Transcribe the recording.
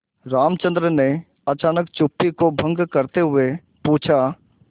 रामचंद्र ने अचानक चुप्पी को भंग करते हुए पूछा